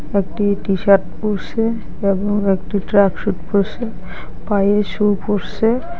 একটি টি-শার্ট পরসে এবং একটি ট্র্যাকসুট পরসে পায়ে সু পরসে-এ।